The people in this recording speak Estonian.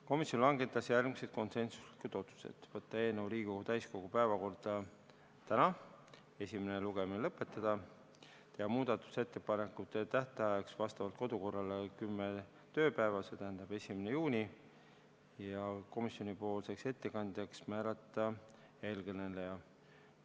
Komisjon langetas järgmised konsensuslikud otsused: võtta eelnõu Riigikogu täiskogu päevakorda täna, esimene lugemine lõpetada, muudatusettepanekute esitamise tähtajaks vastavalt kodukorrale on kümme tööpäeva ja komisjoni ettekandjaks määrati siinkõneleja.